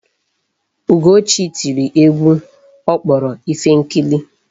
Ugochi tiri egwu ọ kpọrọ Ifenkili.